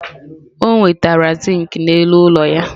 O nwetara zinc n'elu ụlọ ya.